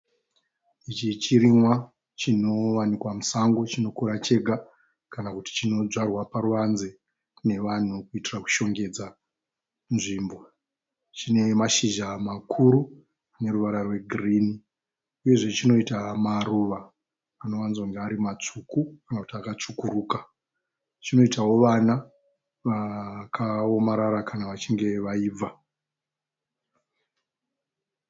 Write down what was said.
Ichi chirimwa chinowanikwa musango chinokura chega kana kuti chinodyarwa paruvanze nevanhu kuitira kushongedza nzvimbo. Chine mashizha makuru aneruvara rwegirinhi. Uyezve chinoita maruva anowadzokunge ari matsvuku kana kuti akutsvukuruka. Chinoitawo vana vakaomarara kana vachinge vaibva.